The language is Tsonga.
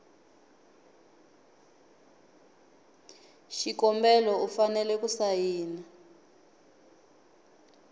xikombelo u fanele ku sayina